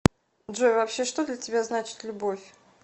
джой вообще что для тебя значит любовь